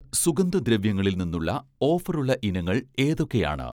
സുഗന്ധദ്രവ്യങ്ങളിൽ നിന്നുള്ള ഓഫറുള്ള ഇനങ്ങൾ ഏതൊക്കെയാണ്?